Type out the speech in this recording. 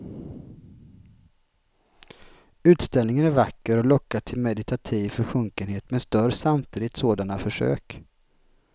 Utställningen är vacker och lockar till meditativ försjunkenhet men stör samtidigt sådana försök.